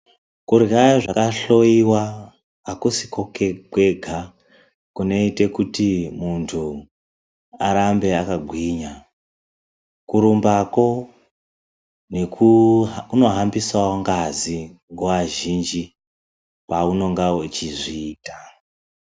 Kurya zvakashowiwa hakusiko kwega kunoite kuti muntu arambe akagwinya. Kurumbakwo kunohambisawo ngazi nguwa zhinji paunenga uchizviita.